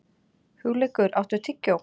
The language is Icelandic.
Hugleikur, áttu tyggjó?